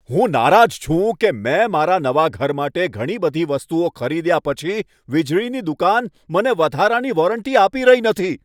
હું નારાજ છું કે મેં મારા નવા ઘર માટે ઘણી બધી વસ્તુઓ ખરીદ્યા પછી વીજળીની દુકાન મને વધારાની વોરંટી આપી રહી નથી.